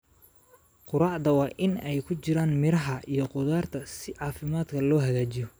Quraacda waa in ay ku jiraan miraha iyo khudaarta si caafimaadka loo hagaajiyo.